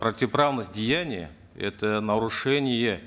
противоправность деяния это нарушение